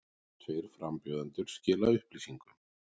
Tveir frambjóðendur skila upplýsingum